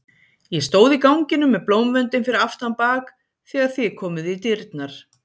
Ég stóð í ganginum með blómvöndinn fyrir aftan bak þegar þið komuð í dyrnar.